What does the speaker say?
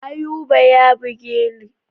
Ayuba ya buge ni.